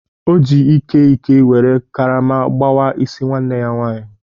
O ji Ike Ike were karama gbawa isi nwanne ya nwanyị.